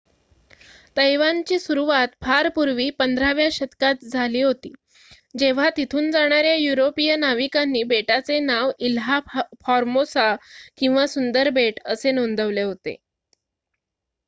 तैवानची सुरुवात फार पूर्वी १५ व्या शतकात झाली होती जेव्हा तिथून जाणाऱ्या युरोपिअन नाविकांनी बेटाचे नाव इल्हा फॉर्मोसा किंवा सुंदर बेट असे नोंदवले होते